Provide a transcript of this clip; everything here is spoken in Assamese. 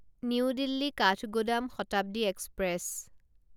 new Delhi Kathgodam Shatabdi express